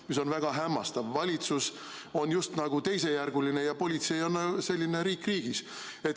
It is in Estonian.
See on väga hämmastav –valitsus on just nagu teisejärguline ja politsei on selline riik riigis.